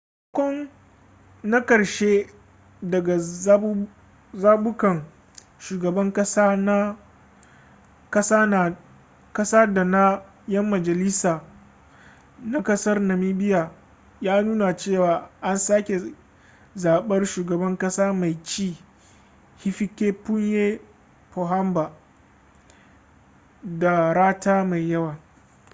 sakamako na karshe daga zabukan shugaban kasa da na 'yan majalisa na ƙasar namibia ya nuna cewa an sake zaɓar shugaban kasa mai ci hifikepunye pohamba da rata mai yawa